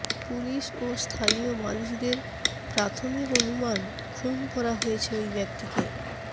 police ও স্থানীয় মানুষদের প্রাথমিক অনুমান খুন করা হয়েছে ওই ব্যক্তিকে